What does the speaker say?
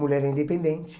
Mulher é independente.